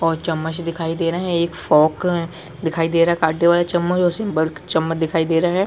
और चमच्च दिखाई दे रहे है एक फोक दखाई दे रहे है कांटे वाला चमच्च उसी में बक चमच दिखाई दे रहा है।